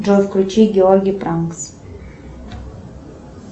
джой включи георгий пранкс